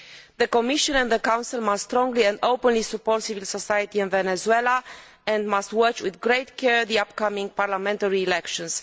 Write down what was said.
The Commission and the Council must strongly and openly support civil society in Venezuela and must watch with great care the upcoming parliamentary elections.